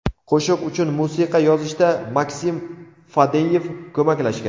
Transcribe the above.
Qo‘shiq uchun musiqa yozishda Maksim Fadeyev ko‘maklashgan.